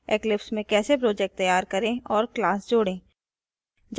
eclipse में कैसे project तैयार करें और class जोड़ें